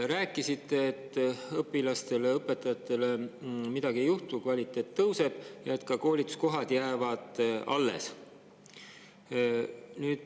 Rääkisite, et õpilaste ja õpetajatega midagi ei juhtu, et kvaliteet tõuseb ja koolituskohad jäävad alles.